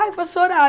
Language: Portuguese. Ai, vou chorar.